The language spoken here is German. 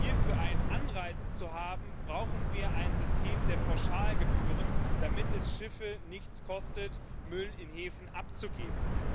Um hierfür einen Anreiz zu haben, brauchen wir ein System der Pauschalgebühren, damit es Schiffe nichts kostet, Müll in Häfen abzugeben.